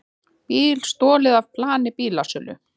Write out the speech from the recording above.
Bíl stolið af plani bílasölu